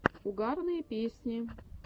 угарные песни